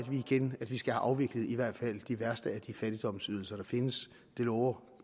at vi skal have afviklet i hvert fald de værste af de fattigdomsydelser der findes det lover